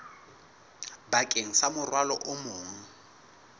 bakeng sa morwalo o mong